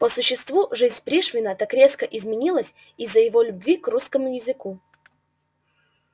по существу жизнь пришвина так резко изменилась из-за его любви к русскому языку